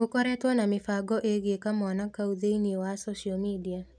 Gũkoretwo na mĩbango ĩgiĩ kamwana kau thĩinĩ wa social media